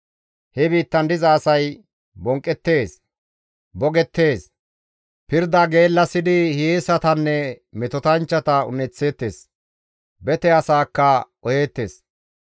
He biittan diza asay bonqqeettes; boggeettes; pirda geellasidi hiyeesanne metotanchchata un7eththeettes; bete asaakka qoheettes.